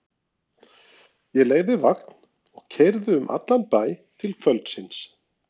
Ég leigði vagn og keyrði um allan bæ til kvöldsins.